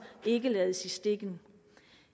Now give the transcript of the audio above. ikke lades i stikken